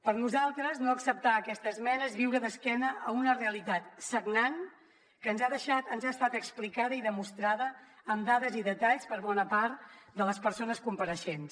per nosaltres no acceptar aquesta esmena és viure d’esquena a una realitat sagnant que ens ha estat explicada i demostrada amb dades i detalls per bona part de les persones compareixents